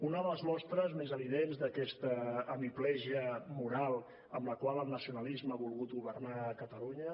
una de les mostres més evidents d’aquesta hemiplegia moral amb la qual el nacionalisme ha volgut governar catalunya